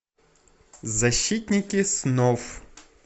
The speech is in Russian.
защитники снов